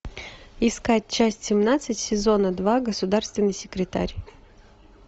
искать часть семнадцать сезона два государственный секретарь